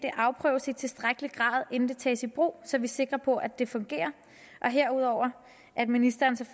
afprøves i tilstrækkelig grad inden det tages i brug så vi er sikre på at det fungerer og herudover at ministeren